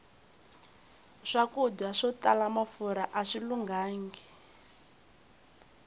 swakudya swo tala mafurha aswi lunghangi